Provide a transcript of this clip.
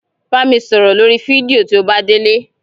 Bá mi sọ̀rọ̀ lórí fídíò tí o bá délé.